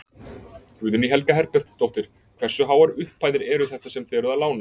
Guðný Helga Herbertsdóttir: Hversu háar upphæðir eru þetta sem þið eruð að lána?